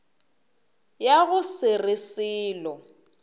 ya go se re selo